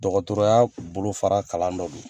Dɔgɔtɔrɔ ya bolo fara kalan dɔ do